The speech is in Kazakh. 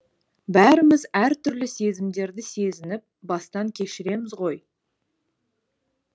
бәріміз әртүрлі сезімдерді сезініп бастан кешіреміз ғой